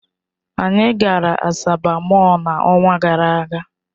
Anyị gara Asaba Mọll n'ọnwa gara aga.